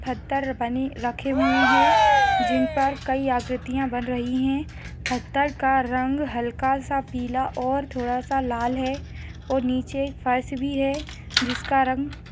पत्थर बने रखे हुए हैं जिन पर कई आकृतियां बन रही हैंपत्थर का रंग हल्का सा पीला और थोड़ा सा लाल है और नीचे फर्श भी है जिसका रंग --